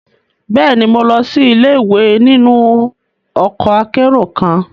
Bẹẹni, Mo lọ si ile-iwe ninu ọkọ akero kan